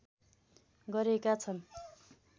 गरेका छन्